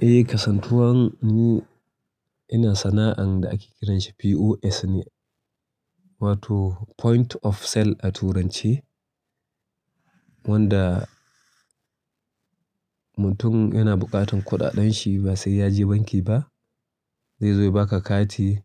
Eh, kasantuwan ni ina sana'an da ake kiranshi POS ne, wato Point of Sale a turance. Wanda mutum yana buƙatan kuɗaɗenshi ba sai ya je banki ba. Zaizo ya baka kati